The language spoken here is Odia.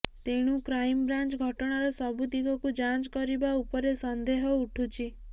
ତେଣୁ କ୍ରାଇମବ୍ରାଞ୍ଚ୍ ଘଟଣାର ସବୁ ଦିଗକୁ ଯାଞ୍ଚ୍ କରିବା ଉପରେ ସନ୍ଦେହ ଉଠୁଛି